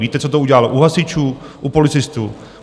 Víte, co to udělalo u hasičů, u policistů?